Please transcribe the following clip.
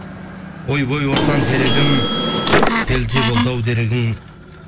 ойбай ортаң терегім келте болды ау дерегің